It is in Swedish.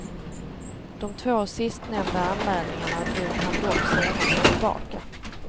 De två sistnämnda anmälningarna drog han dock senare tillbaka.